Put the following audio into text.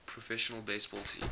professional baseball teams